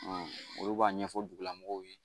olu b'a ɲɛfɔ dugulamɔgɔw ye